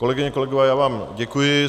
Kolegyně, kolegové, já vám děkuji.